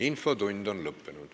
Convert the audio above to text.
Infotund on lõppenud.